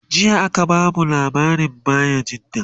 jiya aka bamu labarin bayajidda